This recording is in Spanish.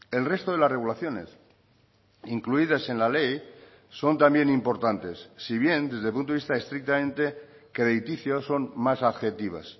el resto de las regulaciones incluidas en la ley son también importantes si bien desde el punto de vista estrictamente crediticio son más adjetivas